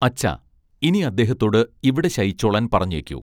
അച്ഛാ ഇനി അദ്ദേഹത്തോട് ഇവിടെ ശയിച്ചോളാൻ പറഞ്ഞേയ്ക്കൂ